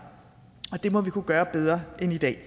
og det må vi kunne gøre bedre end i dag